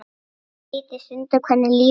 Skrítið stundum hvernig lífið er.